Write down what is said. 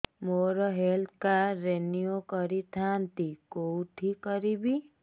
ମୋର health card renew କରିଥାନ୍ତି କୋଉଠି କରିବି